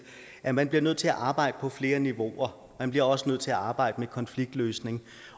at man bliver nødt til arbejde på flere niveauer man bliver også nødt til at arbejde med konfliktløsning